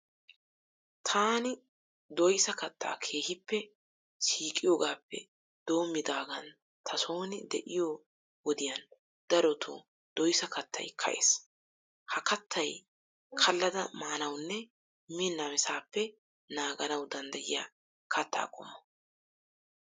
Taani doyisa kattaa keehippe siiqiyogaappe doommidaagaan ta sooni de'iyo wodiyan darotoo doyisa kattayi ka'ees. Ha kattaayi kallada maanawunne miin namisaappe naaganawu danddayiya katta qommo.